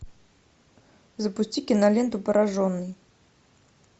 запусти киноленту пораженный